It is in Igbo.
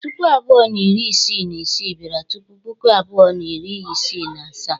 Puku abụọ na iri isii na isii bịara tupu Puku abụọ na iri isii na asaa.